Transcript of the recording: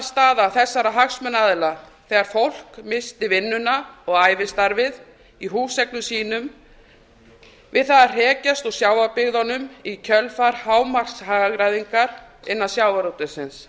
varnarstaða þessara hagsmunaaðila þegar fólk missti vinnuna og ævistarfið í húseignum sínum við það að hrekjast úr sjávarbyggðunum í kjölfar hámarkshagræðingar innan sjávarútvegsins